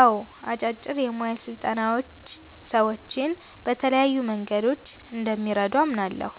አዎ፣ አጫጭር የሞያ ስልጠናዎች ሰዎችን በተለያዩ መንገዶች እንደሚረዱ አምናለሁ።